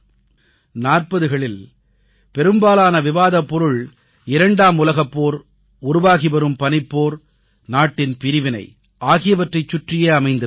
40களில் பெரும்பாலான விவாதப் பொருள் 2ஆம் உலகப் போர் உருவாகி வரும் பனிப்போர் நாட்டின் பிரிவினை ஆகியவற்றைச் சுற்றியே அமைந்திருந்தது